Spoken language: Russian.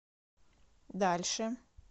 дальше